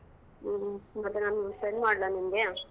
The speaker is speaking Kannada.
ಹ್ಮ್ ಮತ್ತೆ ನಾನ್ send ಮಾಡ್ಲಾ ನಿಂಗೆ?